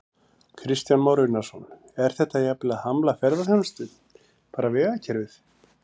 Kristján Már Unnarsson: Er þetta jafnvel að hamla ferðaþjónustu, bara vegakerfið?